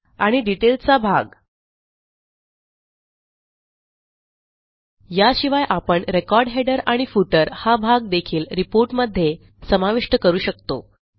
आणि डिटेल चा भाग याशिवाय आपण रेकॉर्ड हेडर आणि फुटर हा भाग देखील रिपोर्टमधे समाविष्ट करू शकतो